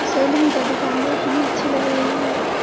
Salon का दुकान बहुत ही अच्छे लग रहे हैं यहा पे।